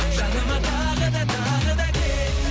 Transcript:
жаныма тағы да тағы да кел